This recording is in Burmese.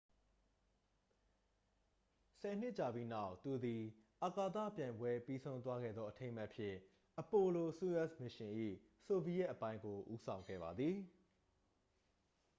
ဆယ်နှစ်ကြာပြီးနောက် သူသည် အာကာသပြိုင်ပွဲပြီးဆုံးသွားခဲ့သောအထိမ်းအမှတ်အဖြစ် apollo-soyuz မစ်ရှင်၏ ဆိုဗီယက်အပိုင်းကို ဦးဆောင်ခဲ့ပါသည်